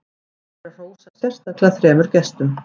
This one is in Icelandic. rétt er að hrósa sérstaklega þremur gestum